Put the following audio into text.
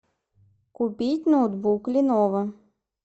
купить ноутбук леново